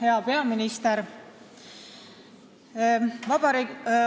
Hea peaminister!